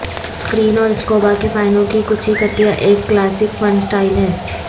screen اور scuba کے فائنوں کی کچھی کٹیاں ایک کلاسک فن سٹائل ہیں